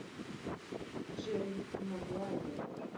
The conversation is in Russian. джерри магуайер